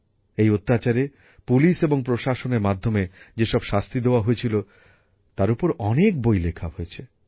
এই অত্যাচারে পুলিশ এবং প্রশাসনের মাধ্যমে যেসব শাস্তি দেওয়া হয়েছিল তার ওপর অনেক বই লেখা হয়েছে